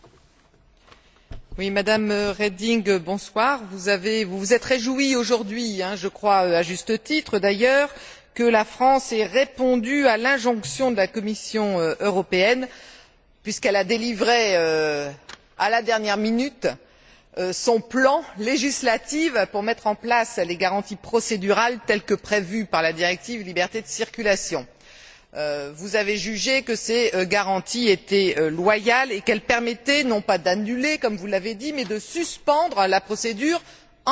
Madame la Présidente, Madame la Commissaire, bonsoir. Madame Reding, vous vous êtes réjouie aujourd'hui, je crois, à juste titre d'ailleurs, que la France ait répondu à l'injonction de la Commission européenne puisqu'elle a délivré à la dernière minute son plan législatif pour mettre en place les garanties procédurales telles que prévues par la directive liberté de circulation. Vous avez jugé que ces garanties étaient loyales et qu'elles permettaient non pas d'annuler, comme vous l'avez dit, mais de suspendre la procédure en infraction.